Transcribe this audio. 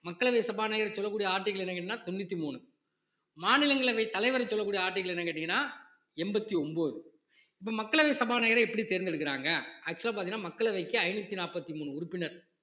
மக்களவை சபாநாயகர் சொல்லக்கூடிய article என்ன கேட்டீங்கன்னா தொண்ணூத்தி மூணு மாநிலங்களவை தலைவரை சொல்லக்கூடிய article என்னன்னு கேட்டீங்கன்னா எண்பத்தி ஒன்பது இப்போ மக்களவை சபாநாயகரை எப்படி தேர்ந்தெடுக்கிறாங்க actual ஆ பார்த்தீங்கன்னா மக்களவைக்கு ஐந்நூத்தி நாற்பத்தி மூணு உறுப்பினர்